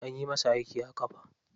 Anyi masa aiki a ƙafa.